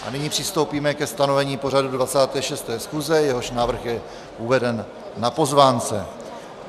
A nyní přistoupíme ke stanovení pořadu 26. schůze, jehož návrh je uveden na pozvánce.